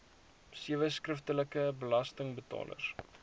sewe skriftelike belastingbetalers